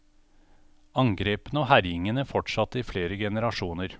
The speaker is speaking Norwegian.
Angrepene og herjingene fortsatte i flere generasjoner.